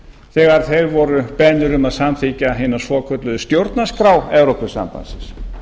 þegar þeir voru beðnir um að samþykkja hina svokölluðu stjórnarskrá evrópusambandsins